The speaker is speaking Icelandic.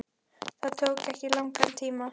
Það tók ekki langan tíma.